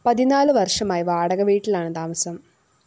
പതിനാലു വര്‍ഷമായി വാടക വീട്ടിലാണ് താമസം